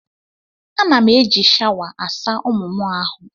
Ana m eji shawa asa ụmụ m ahụ.